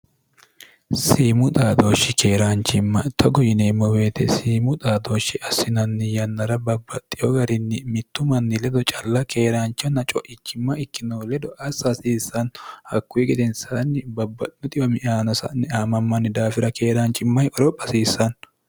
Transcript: siimu xaadooshshi keeraanchimma togo yineemmo weete siimu xaadooshshi assinanni yannara babbaxxiyo garinni mittu manni ledo calla keeraanchanna co'ichimma ikkino ledo assa hasiissanno hakkuyi gedensaanni babbawo xiwani noowa sa'ne aamaamanni daafira keeraanchimmanikke qoropha hasiissanno